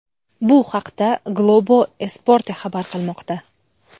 Bu haqda Globo Esporte xabar qilmoqda .